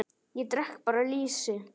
Ég drekk bara lýsi!